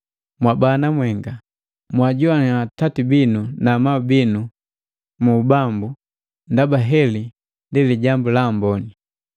Mwabana mwenga, mwajoannya atati binu na amabu binu mu Bambu ndaba heli ndi lijambu laamboni.